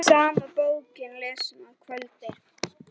Sama bókin lesin að kvöldi.